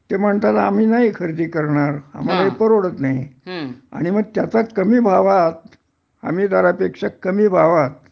ते म्हणतात आम्ही नाही खरेदी करणार आम्हाला हे परवडत नाही आणि मग त्याचा कमी भावात हमीदरापेक्षा कमी भावात